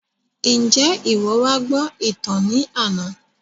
Njẹ iwọ wá gbọ ìtàn ní àna?